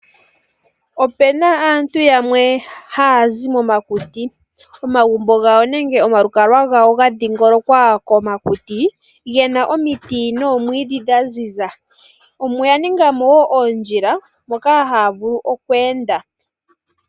Opena aantu yamwe hayazi momakuti, omagumbo gawo nenge omalukalwa gawo ga dhiingolokwa komakuti gena omiti noomwiidhi dha ziza ,oya ningamo woo oondjila moka haya vulu kweenda.